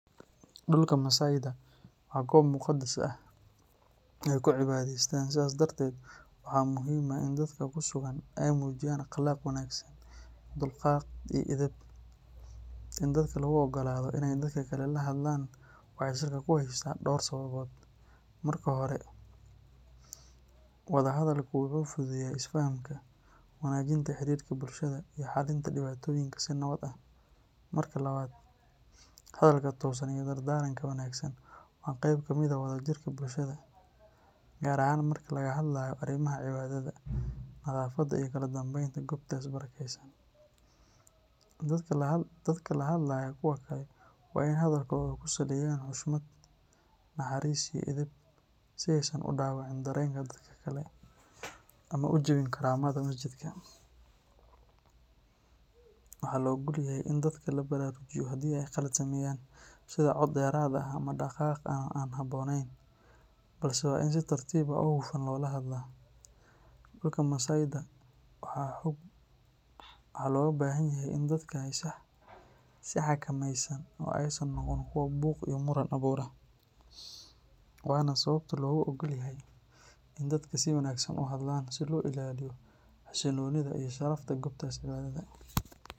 Dhulka masaydha waa goob muqadas ah oo ay ku cibaadaystaan, sidaas darteed waxaa muhiim ah in dadka ku sugan ay muujiyaan akhlaaq wanaagsan, dulqaad, iyo edeb. In dadka lagu oggolaado inay dadka kale la hadlaan waxay salka ku haysaa dhowr sababood. Marka hore, wada hadalku wuxuu fududeeyaa isfahamka, wanaajinta xiriirka bulshada, iyo xallinta dhibaatooyinka si nabad ah. Marka labaad, hadalka toosan iyo dardaaranka wanaagsan waa qayb ka mid ah wada jirka bulshada, gaar ahaan marka laga hadlayo arrimaha cibaadada, nadaafadda, iyo kala dambeynta goobtaas barakaysan. Dadka la hadlaya kuwa kale waa in ay hadalkooda ku saleeyaan xushmad, naxariis, iyo edeb si aysan u dhaawicin dareenka dadka kale ama u jabin karaamada masjidka. Waxaa la oggol yahay in dadka la baraarujiyo haddii ay khalad sameeyaan, sida cod dheeraad ah ama dhaqaaq aan habboonayn, balse waa in si tartiib ah oo hufan loola hadlaa. Dhulka masaydha waxaa looga baahan yahay in dadka ay isxakameeyaan oo aysan noqon kuwo buuq iyo muran abuura, waana sababta loogu oggol yahay in dadka si wanaagsan u hadlaan si loo ilaaliyo xasilloonida iyo sharafta goobtaas cibaadada.